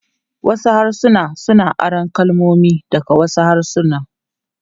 Wasu harsuna suna aron kalmomi daga wasu harsuna.